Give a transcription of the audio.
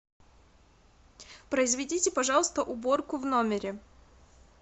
произведите пожалуйста уборку в номере